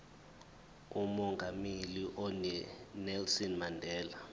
umongameli unelson mandela